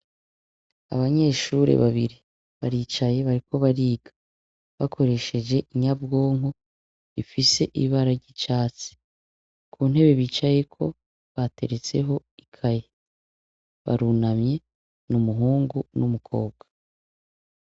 Abanyeshuri babiri baricaye bariko bariga bakoresheje inyabwonko ifise ibara ry'icatsi ku ntebe bicayeko bateretseho ikaye barunamye n'umuhungu n'umukobwa.